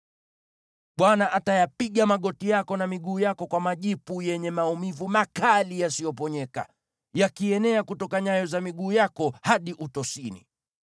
Bwana atayapiga magoti yako na miguu yako kwa majipu yenye maumivu makali yasiyoponyeka, yakienea kutoka nyayo za miguu yako hadi utosini.